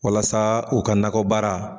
Walasa u ka nakɔ baara.